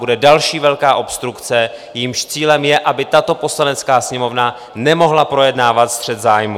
Bude další velká obstrukce, jejímž cílem je, aby tato Poslanecká sněmovna nemohla projednávat střet zájmů.